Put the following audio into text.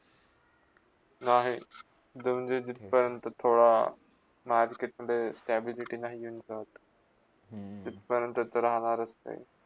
नाही, दोन दिवस झटपर्यंत पोरा मारकीटला stability नाही घेऊन जात तथपर्यंत जाणारच नाही.